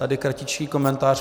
Tady kratičký komentář.